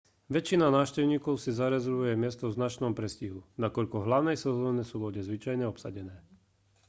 väčšina návštevníkov si zarezervuje miesto v značnom predstihu nakoľko v hlavnej sezóne sú lode zvyčajne obsadené